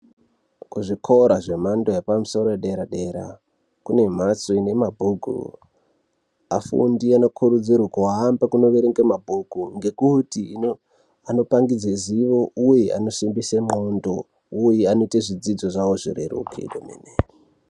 Kuzvikora zvemhando yepamusoro yedera dera kunembatso ine mabhuku. Afundi anokurudzirwa kuhamba kunoerenga mabhuku ngekuti anopangidze zivo uye anosimbisa ndxondo uye anoita zvidzidzo zvavo zvireruke zvemene.